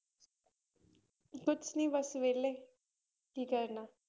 ਕੁਛ ਨੀ ਬਸ ਵਿਹਲੇ, ਕੀ ਕਰਨਾ।